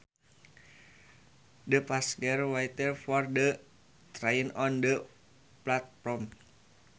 The passengers waited for the train on the platform